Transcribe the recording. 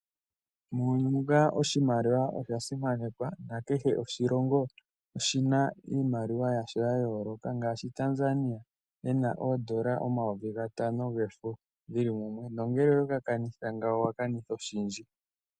Muyni muka oshimaliwa osha simanekwa na kehe oshilongo oshina iimaliwa yasho ya yooloka ngaashi Tanzania ena oodola omayovigaatano gefo geli mumwe, na ngele owe gaa kanitha ngawo owa kanitha oshindji.